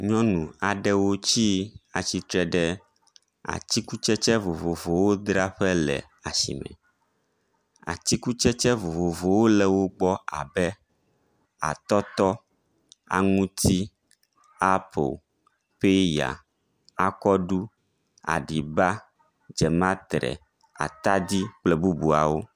Nyɔnu aɖewo tsi atsitre ɖe atikutsetse vovovowo dzraƒe le asi me. Atikutsetse vovovowo le wo gbɔ abe atɔtɔ, aŋuti, apo, peya, akɔɖu, aɖiba, dzematre, atadi kple bubuawo.